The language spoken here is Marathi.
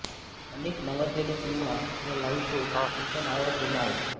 अनेक नावाजलेले सिनेमा व लाईव्ह शो त्यांच्या नावावर जमा आहेत